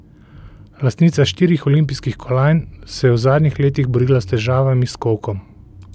Lastnica štirih olimpijskih kolajn se je v zadnjih letih borila s težavami s kolkom.